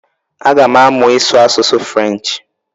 Aga m amụ ịsụ asụsụ french